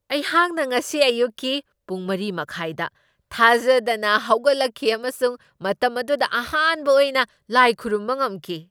ꯑꯩꯍꯥꯛꯅ ꯉꯁꯤ ꯑꯌꯨꯛꯀꯤ ꯄꯨꯡ ꯃꯔꯤ ꯃꯈꯥꯢꯗ ꯊꯥꯖꯗꯅ ꯍꯧꯒꯠꯂꯛꯈꯤ ꯑꯃꯁꯨꯡ ꯃꯇꯝ ꯑꯗꯨꯗ ꯑꯍꯥꯟꯕ ꯑꯣꯏꯅ ꯂꯥꯏ ꯈꯨꯔꯨꯝꯕ ꯉꯝꯈꯤ꯫